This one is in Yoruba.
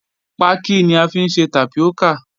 Paki ni à fiń sẹ̀ tápíọ́kà.